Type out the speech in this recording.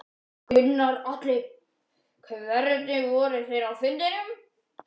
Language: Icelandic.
Gunnar Atli: Hvernig voru þeir á fundinum?